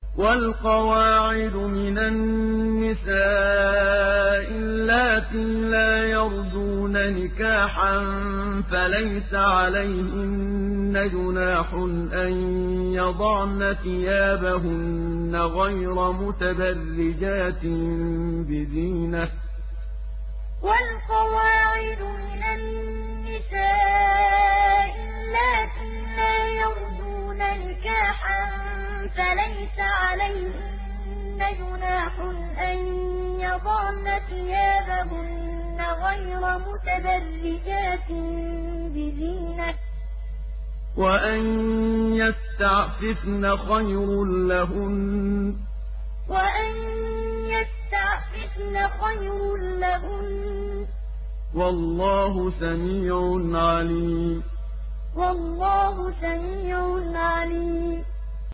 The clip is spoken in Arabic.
وَالْقَوَاعِدُ مِنَ النِّسَاءِ اللَّاتِي لَا يَرْجُونَ نِكَاحًا فَلَيْسَ عَلَيْهِنَّ جُنَاحٌ أَن يَضَعْنَ ثِيَابَهُنَّ غَيْرَ مُتَبَرِّجَاتٍ بِزِينَةٍ ۖ وَأَن يَسْتَعْفِفْنَ خَيْرٌ لَّهُنَّ ۗ وَاللَّهُ سَمِيعٌ عَلِيمٌ وَالْقَوَاعِدُ مِنَ النِّسَاءِ اللَّاتِي لَا يَرْجُونَ نِكَاحًا فَلَيْسَ عَلَيْهِنَّ جُنَاحٌ أَن يَضَعْنَ ثِيَابَهُنَّ غَيْرَ مُتَبَرِّجَاتٍ بِزِينَةٍ ۖ وَأَن يَسْتَعْفِفْنَ خَيْرٌ لَّهُنَّ ۗ وَاللَّهُ سَمِيعٌ عَلِيمٌ